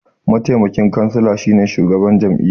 Mataimakin kansila shine shugaban jami'a.